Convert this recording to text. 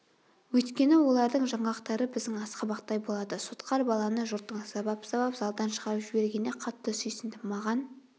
өйткені олардың жаңғақтары біздің асқабақтай болады сотқар баланы жұрттың сабап-сабап залдан шығарып жібергеніне қатты сүйсіндім маған